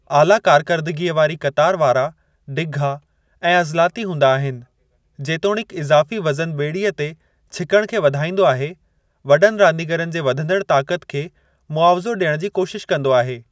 आला कारकरदगीअ वारी क़तारु वारा डिघा ऐं अज़लाती हूंदा आहिनि जेतोणीकि इज़ाफ़ी वज़न ॿेड़ीअ ते छिकण खे वधाईंदो आहे वॾनि रांदीगरनि जे वधंदड़ ताक़त खे मुआविज़ो ॾियणु जी कोशिश कंदो आहे।